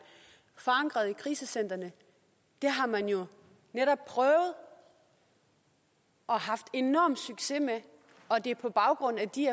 forankret i krisecentrene har man jo netop prøvet og haft enorm succes med og det er på baggrund af de